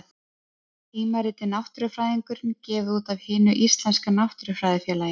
Tímaritið Náttúrufræðingurinn, gefið út af Hinu íslenska náttúrufræðifélagi.